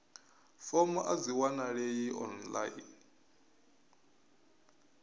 fomo a dzi wanalei online